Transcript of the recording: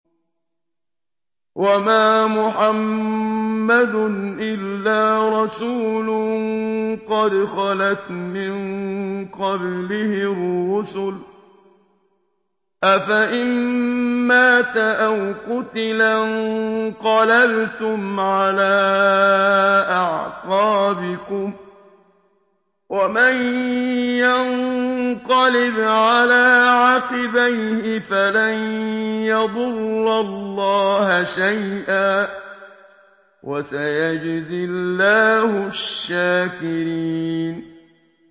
وَمَا مُحَمَّدٌ إِلَّا رَسُولٌ قَدْ خَلَتْ مِن قَبْلِهِ الرُّسُلُ ۚ أَفَإِن مَّاتَ أَوْ قُتِلَ انقَلَبْتُمْ عَلَىٰ أَعْقَابِكُمْ ۚ وَمَن يَنقَلِبْ عَلَىٰ عَقِبَيْهِ فَلَن يَضُرَّ اللَّهَ شَيْئًا ۗ وَسَيَجْزِي اللَّهُ الشَّاكِرِينَ